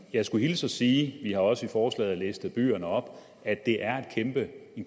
jeg skulle hilse og sige vi har også i forslaget listet byerne op at det er en